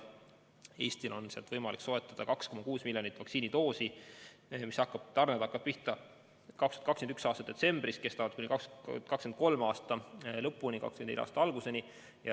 Eestil on sealt võimalik soetada 2,6 miljonit vaktsiinidoosi, tarned hakkavad pihta 2021. aasta detsembris ja kestavad kuni 2023. aasta lõpuni, 2024. aasta alguseni.